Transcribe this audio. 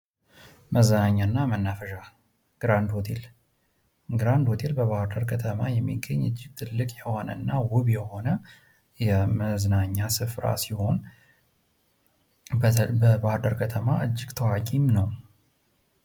መዝናኛ እና ማናፈሻ ግራንድ ሆቴም በ ባህር ዳር ከተማ የሚገኝ ትልቅ የሆነ አና ውብ የሆነ የ መዝናኛ ስፍራ ሲሆን በ ባህር ዳር ከተማም እጅግ በጣም ታዋቂም ነው ።